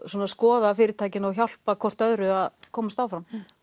skoða fyrirtækin og hjálpa hvort öðru að komast áfram